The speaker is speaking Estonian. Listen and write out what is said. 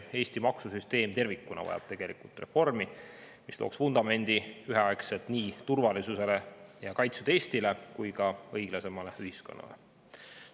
Eesti maksusüsteem tervikuna vajab tegelikult reformi, mis looks vundamendi üheaegselt nii turvalisusele ja kaitstud Eestile kui ka õiglasemale ühiskonnale.